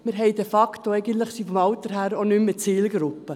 Wir sind de facto, vom Alter her, auch nicht mehr Zielgruppe.